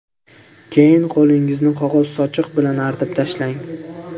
Keyin qo‘lingizni qog‘oz sochiq bilan artib tashlang.